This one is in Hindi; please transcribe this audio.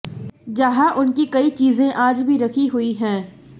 जहां उनकी कई चीजें आज भी रखी हुई हैं